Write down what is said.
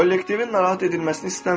Kollektivin narahat edilməsini istəmirəm.